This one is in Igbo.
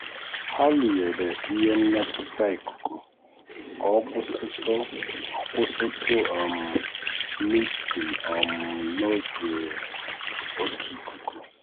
ha rụnyere ihe mmetụta ikuku ka ọ kwụsịtụ ọ kwụsịtụ um misting um n'oge um oke ikuku.